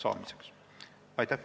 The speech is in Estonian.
Aitäh!